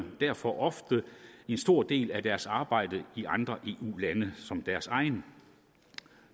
derfor ofte en stor del af deres arbejde i andre eu lande